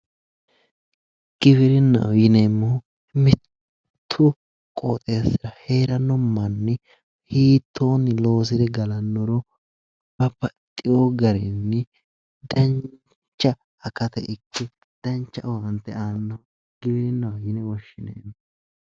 Giwirinnaho yineemmori mittu qooxeessira heeranno manni hiittonni loosire galannoro babaxeewo garinni dancha akata ikke dancha owaante aannoha giwirinnaho yine woshshineemmo